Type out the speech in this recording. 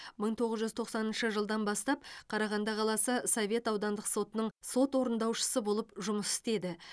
мың тоғыз жүз тоқсаныншы жылдан бастап қарағанды қаласы совет аудандық сотының сот орындаушысы болып жұмыс істеді